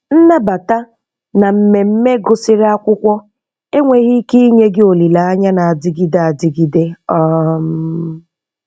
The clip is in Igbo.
Nnabata na mmemme gụsịrị akwụkwọ enweghị ike inye gị olileanya na-adịgide adịgide. um